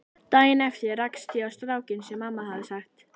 Daginn eftir rakst ég á strákinn sem mamma hafði sagt